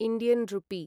Indian रुपी